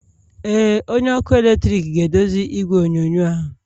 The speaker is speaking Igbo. Ee, onye ọkụ eletrik ga-edozi igwe onyonyo ahụ.